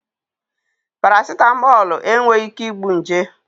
Parasịtamọlụ enweghị ike igbu nje